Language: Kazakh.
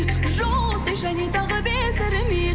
жауап бер және тағы бездірмей